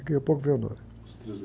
Daqui a pouco vem o nome. s trilhos